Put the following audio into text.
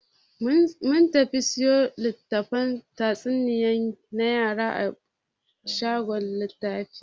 Mun tafi siyo litattafan tatsuniyoyi na yara a shagon littafi.